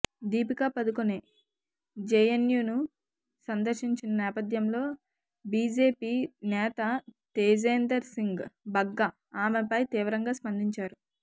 దీపికా పదుకొనె జేఎన్యూను సందర్శించిన నేపథ్యంలో బీజేపీ నేత తేజేందర్ సింగ్ బగ్గా ఆమెపై తీవ్రంగా స్పందించారు